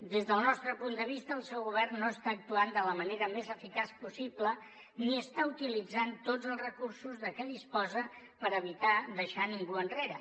des del nostre punt de vista el seu govern no està actuant de la manera més eficaç possible ni està utilitzant tots els recursos de què disposa per evitar deixar ningú enrere